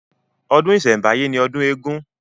Ọdún ìsẹ̀ǹbáyé ni ọdún eégún